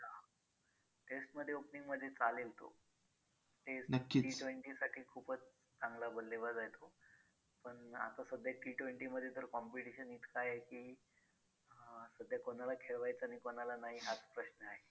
test मध्ये opening मध्ये चालेल तो T t wenty साठी खूपच चांगला बल्लेबाज आहे तो पण आता सध्या T twenty मध्ये तर competition इतकं आहे की अं सध्या कोणाला खेळवायचं आणि कोणाला नाही हाच प्रश्न आहे.